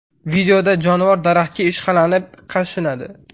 Videoda jonivor daraxtga ishqalanib, qashinadi.